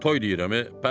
Toy deyirəm eee?